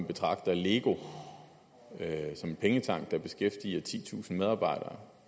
betragter lego der beskæftiger titusind medarbejdere